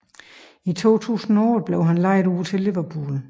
I 2008 blev han lejet ud til Liverpool